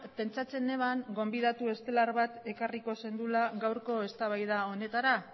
pentsatzen neban gonbidatu estelar bat ekarriko zenuela gaurko eztabaida honetara